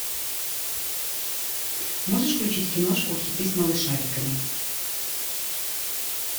можешь включить киношку хиты с малышариками